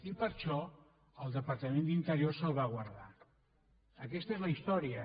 i per això el departament d’interior se’l va guardar aquesta és la història